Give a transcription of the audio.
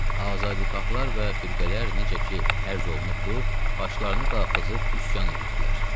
Azadixahlar və firqələr necə ki, ərz olunubdur, başlarını qaldırıb üsyan edirdilər.